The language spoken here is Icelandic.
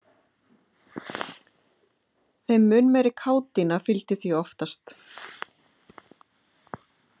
Þeim mun meiri kátína fylgdi því oftast.